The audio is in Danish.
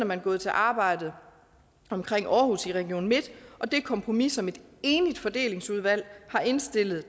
man gået til arbejdet omkring aarhus i region midt og det kompromis som et enigt fordelingsudvalg har indstillet